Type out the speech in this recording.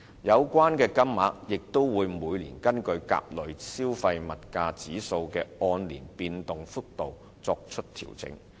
有關金額也會每年根據甲類消費物價指數的按年變動幅度作出調整。